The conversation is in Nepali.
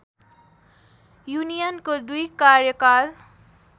युनियनको दुई कार्यकाल